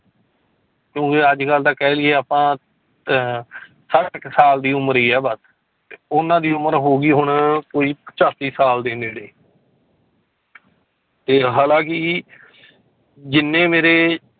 ਕਿਉਂਕਿ ਅੱਜ ਕੱਲ੍ਹ ਤਾਂ ਕਹਿ ਲਈਏ ਆਪਾਂ ਅਹ ਛੱਠ ਕੁ ਸਾਲ ਦੀ ਉਮਰ ਹੀ ਹੈ ਬਸ ਉਹਨਾਂ ਦੀ ਉਮਰ ਹੋ ਗਈ ਹੁਣ ਕੋਈ ਪਚਾਸੀ ਸਾਲ ਦੇ ਨੇੜੇ ਤੇ ਹਾਲਾਂਕਿ ਜਿੰਨੇ ਮੇਰੇ